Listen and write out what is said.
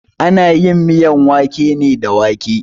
Ana yin miyar wake ne da wake.